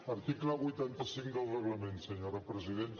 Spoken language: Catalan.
article vuitanta cinc del reglament senyora presidenta